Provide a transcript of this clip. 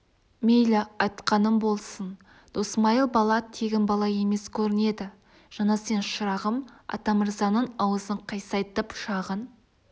мейлі айтқаның болсын досмайыл бала тегін бала емес көрінеді жаңа сен шырағым атамырзаның аузын қисайтып жағын